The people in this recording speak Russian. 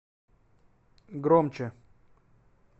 громче